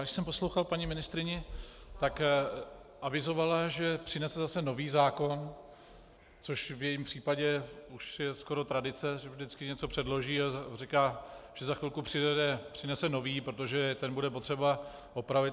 Když jsem poslouchal paní ministryni, tak avizovala, že přinese zase nový zákon, což v jejím případě už je skoro tradice, že vždycky něco předloží a říká, že za chvilku přinese nový, protože ten bude potřeba opravit.